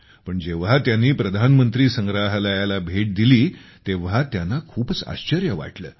पण जेव्हा त्यांनी प्रधानमंत्री संग्रहालयाला भेट दिली तेव्हा त्यांना खूपच आश्चर्य वाटले